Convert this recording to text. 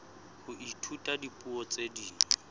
ho ithuta dipuo tse ding